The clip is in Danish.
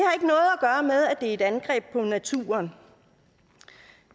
er et angreb på naturen